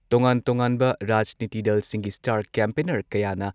ꯇꯣꯉꯥꯟ ꯇꯣꯉꯥꯟꯕ ꯔꯥꯖꯅꯤꯇꯤ ꯗꯜꯁꯤꯡꯒꯤ ꯁ꯭ꯇꯥꯔ ꯀꯦꯝꯄꯦꯟꯅꯔ ꯀꯌꯥꯅ